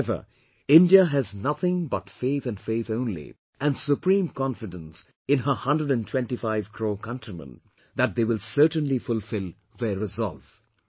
However, India has nothing but faith and faith only and supreme confidence in her hundred and twenty five crore countrymen that they will certainly fulfill their resolve